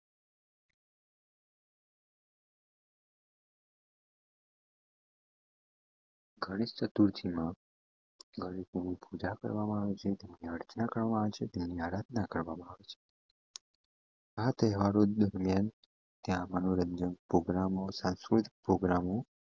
ગણેશ ચતુર્થી માં ગણિત ની પૂજા કરવામાં આવે છે તેની આરાધના કરવામાં આવે છે મનોરંજન પ્રોગ્રામો સાચવો પ્રોગ્રામો